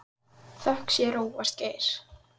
Þökk sé Róberti Geir.